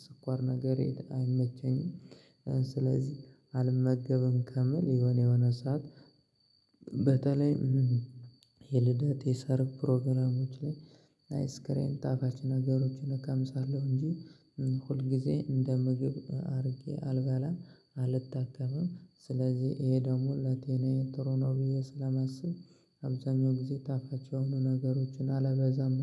ስኳር ነገር አይመቸኝም። ስለዚህ አልመገብም ከምል የሆነ የሆነ ሰዓት። በተለይ የልደት የሰርግ ፕሮግራሞች ላይ። አይስክሬም ጣፋጭ ነገሮችን እቀምሳለሁ እንጂ ሁል ጊዜ እንደ ምግብ አድርጌ አልባላም። አልታከምም ስለዚህ ይሄ ደግሞ ለጠናየ ትሩ ነው ብዬ ስለማስብ። አብዛኛው ጊዜ ጣፋጭ የሆኑ ነገሮችን አለበዛም